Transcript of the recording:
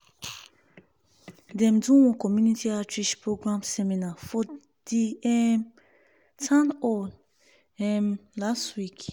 dem do one community outreach program seminar for the um town hall um last week.